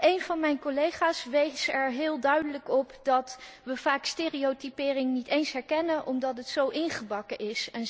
Eén van mijn collega's wees er heel duidelijk op dat we vaak stereotypering niet eens herkennen omdat de stereotypen zo ingebakken zijn.